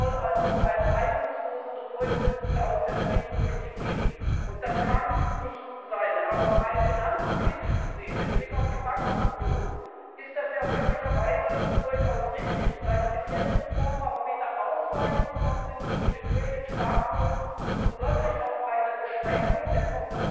Es soll also um eine reibungslosere Durchsetzung der Austeritätspolitik gehen, und das kann nicht sein. Denn auch rein finanzpolitisch gesehen mit Blick auf die Bankenunion ist das zwar möglicherweise durchaus richtig, in der bisherigen Form aber weder ausreichend, noch sind die Kriterien stark genug, um wirklich auf eine Beschränkung der